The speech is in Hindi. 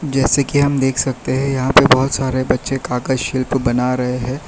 जैसे कि हम देख सकते है यहां पे बहुत सारे बच्चे काका शिल्प बना रहे है।